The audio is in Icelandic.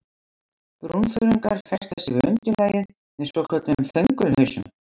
Brúnþörungar festa sig við undirlagið með svokölluðum þöngulhausum.